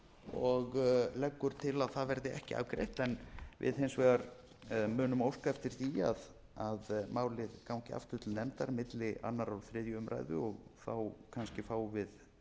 og leggur til að það verði ekki afgreitt við hins vegar munum óska eftir því að málið gangi aftur til nefndar milli annars og þriðju umræðu og þá kannski fáum við